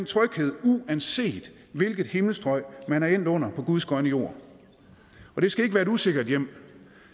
tryghed uanset hvilket himmelstrøg man er endt under på guds grønne jord og det skal ikke være et usikkert hjem